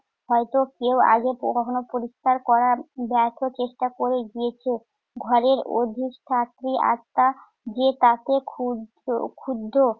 হয়ত কেউ আগে কখনো পরিস্কার করার ব্যর্থ চেষ্টা করে গিয়েছে। ঘরের অধিক আটটা যে তাতে ক্ষুদ~ ক্ষুব্ধ